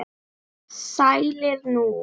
Sælir nú.